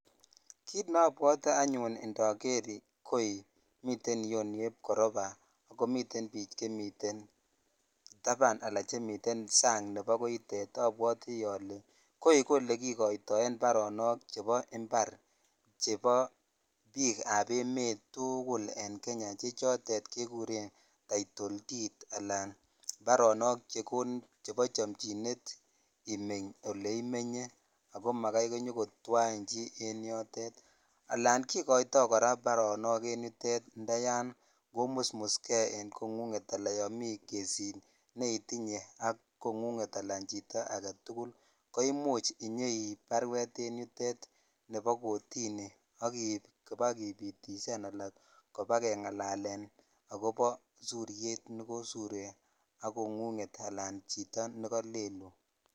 Kit nebwote anyun indoger koi miten iyeu nebo koroba komiten biik chemuten taban anan chemiten sang nebo koitet. Abwoti ale koi ko olekikoitoen mbarenik chebo imbar chebo biikab emet tugul en Kenya che chotet kekuren taitoldid anan baronok chebo chamchinet imeny oleimenye ago magai konyokotwain chi en yotet. Anan kikoito kora baronok en yutet ndayon komusmuske en kongunget anan yomi kesit neitinye ak kongunget anan chito agetugul koimuch inyeip baruet en yutet nebo kotini ak iip kobakupitisan anan kopakengalalen agobo suriet ne kosurie ak kongunget anan chito ne kalelun.